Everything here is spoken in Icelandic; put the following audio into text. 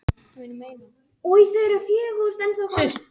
Ég gæti verið Valsari.